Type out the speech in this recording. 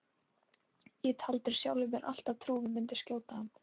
Ég taldi sjálfri mér alltaf trú um að ég myndi skjóta hann.